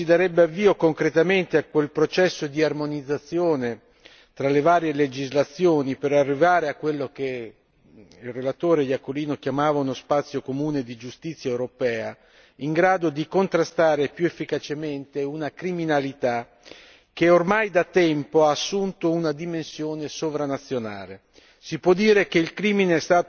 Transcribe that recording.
Importante perché in questo modo si darebbe avvio concretamente a quel processo di armonizzazione tra le varie legislazioni per arrivare a quello che il relatore Iacolino chiamava uno spazio comune di giustizia europea, in grado di contrastare più efficacemente una criminalità che ormai da tempo ha assunto una dimensione sovranazionale.